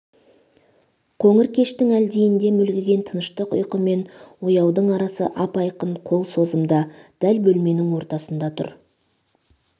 қоңыр кештің әлдинде мүлгіген тыныштық ұйқы мен ояудың арасы ап-айқын қол созымда дәл бөлменің ортасында тұр